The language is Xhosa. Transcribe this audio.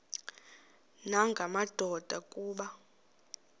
nanga madoda kuba